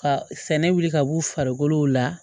Ka sɛnɛ wuli ka b'u farikolo la